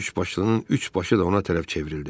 Üçbaşlının üç başı da ona tərəf çevrildi.